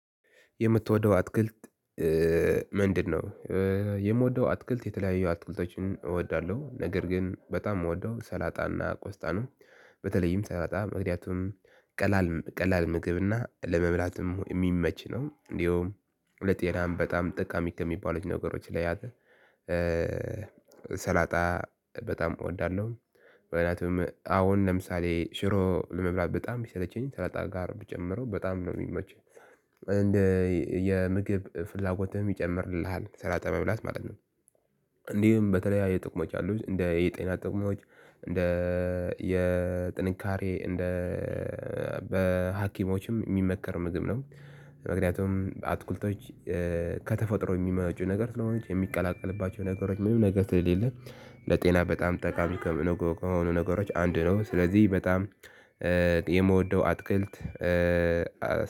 የምትወደው አትክልት ምንድነው? የምወደው አትክልት የተለያየ አትክልቶችን እወዳለሁ ነገር ግን በጣም እወደው ሰላጣና ቆስጣ ነው። በተለይም ሰላጣ ምክንያቱም ቀላል ቀላል ምግብ እና ለመብላትም የሚመች ነው እንደውም ለጤናም በጣም ጠቃሚ ከሚባሉት ነገሮች ላይ አለ ሰላጣ በጣም እወዳለሁ እንዲህም በተለይ የጤና ጥቅሞች አሉት እንደ የጤና ጥቁሞች እንደ የጥንካሬ እንደ በሀኪሞችም የሚመከር ምግብ ነው። ምክኒያቱም አትክልቶች ከተፈጥሮ የሚመጡ ነገር ስለሆነ የሚቀላቀልባቸው ነገሮች ምንም ነገር ስለሌለ ለጤና በጣም ጠቃሚ ከሆኑ ነገሮች አንዱ ነው ስለዚህ በጣም የምወደው አትክልት